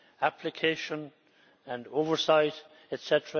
application and oversight, etc.